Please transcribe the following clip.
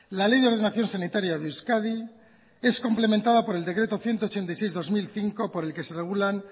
la ley de ordenación sanitaria de euskadi es complementada por el decreto ciento ochenta y seis barra dos mil cinco por el que se regulan